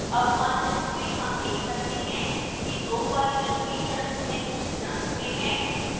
अब मानचित्र में हम देख सकते हैं कि दो polygon features भिन्न रंग में हैं